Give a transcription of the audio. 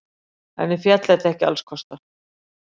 Henni féll þetta ekki allskostar.